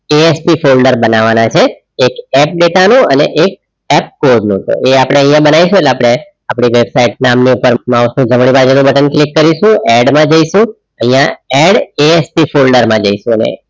ASP folder બનાવવાના છે એક H data નું અને એક app કોડનું એ આપણે અહીંયા બનાવીશું આપડી વેબસાઈટ નામનું માઉસનો જમણી બાજુનું બટન click કરીશું add જઈશું અહીંયા add ASP ફોલ્ડર માં જઈશું